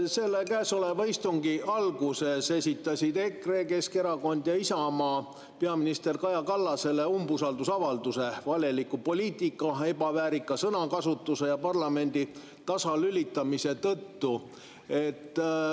Selle käesoleva istungi alguses esitasid EKRE, Keskerakond ja Isamaa peaminister Kaja Kallasele umbusaldusavalduse valeliku poliitika, ebaväärika sõnakasutuse ja parlamendi tasalülitamise tõttu.